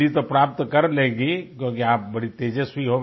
degree तो प्राप्त कर लेगी क्योंकि आप बड़ी तेजस्वी